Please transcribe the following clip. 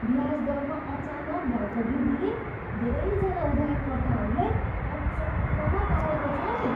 ब्याज दरमा अचानक भएको वृद्धिले धेरैजना उधारकर्ताहरूलाई अचम्ममा पारेको छ नि।